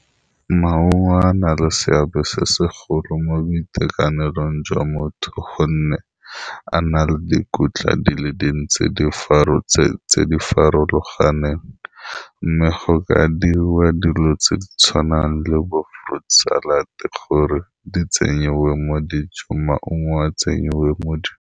Maungo a na le seabe se segolo mo boitekanelong jwa motho gonne a na le dikotla di le dintsi di tse di farologaneng, mme go ka diriwa dilo tse di tshwanang le bo fruid salad gore di tsenyiwa mo dijong maungo a tsenyiwa mo di.